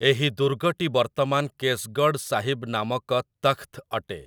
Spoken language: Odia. ଏହି ଦୁର୍ଗଟି ବର୍ତ୍ତମାନ କେସ୍‌ଗଡ୍‌ ସାହିବ୍ ନାମକ ତଖ୍‌ତ୍‌ ଅଟେ ।